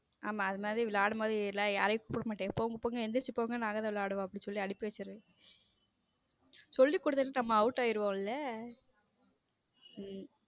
ஆமா அது மாதிரி விளையாடும்போது யாரையும் கூப்பிட மாட்டேன் போங்க போங்க எந்திரிச்சு போங்க நாங்க தான் விளையாடுவோம் அப்படின்னு சொல்லி அனுப்பி வச்சிருவேன சொல்லி கொடுத்தா நம்ம out ஆயிருவோமில்ல.